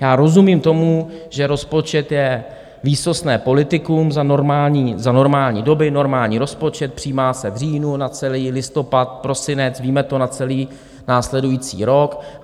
Já rozumím tomu, že rozpočet je výsostné politikum, za normální doby normální rozpočet, přijímá se v říjnu na celý listopad, prosinec, víme to na celý následující rok.